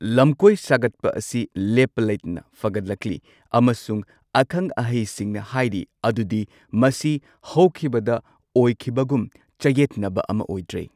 ꯂꯝꯀꯣꯏ ꯁꯥꯒꯠꯄ ꯑꯁꯤ ꯂꯦꯞꯄ ꯂꯩꯇꯅ ꯐꯒꯠ ꯂꯛꯂꯤ ꯑꯃꯁꯨꯡ ꯑꯈꯪ ꯑꯍꯩꯁꯤꯡꯅ ꯍꯥꯏꯔꯤ ꯑꯗꯨꯗꯤ ꯃꯁꯤ ꯍꯧꯈꯤꯕꯗ ꯑꯣꯏꯈꯤꯕꯒꯨꯝ ꯆꯌꯦꯠꯅꯕ ꯑꯃ ꯑꯣꯏꯗ꯭ꯔꯦ꯫